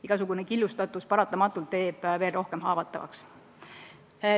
Igasugune killustatus teeb meid rohkem haavatavaks.